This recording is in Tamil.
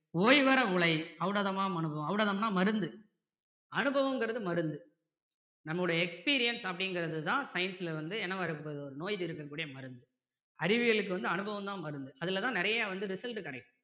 ஓய்வற உழை ஔடதமாம் அனுபவம் ஔடதமுன்னா மருந்து. அனுபவங்கிறது மருந்து நம்முடைய experience அப்படிங்கிறது தான் science ல வந்து என்னவா இருக்க போது ஒரு நோய் தீர்க்கக் கூடிய மருந்து அறிவியலுக்கு வந்து அனுபவம் தான் மருந்து அதுலதான் நிறைய வந்து result கிடைக்கும்